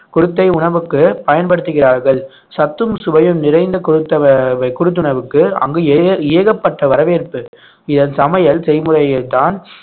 குருத்தை உணவுக்கு பயன்படுத்துகிறார்கள் சத்தும் சுவையும் நிறைந்த குருத்தவ~ குருத்துணவுக்கு அங்கு ஏ~ ஏகப்பட்ட வரவேற்பு இதன் சமையல் செய்முறைகள்தான்